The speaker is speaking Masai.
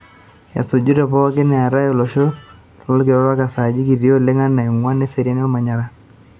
Esuju Tepooki, eeta olosho lolkila orok esajati kiti alang ene onguan eseriani olmanyara.